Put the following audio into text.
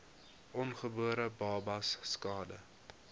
ongebore babas skade